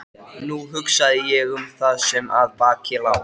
Nú hugsaði ég um það sem að baki lá.